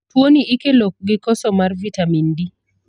Tuo ni ikelo gi koso mar vitamin D.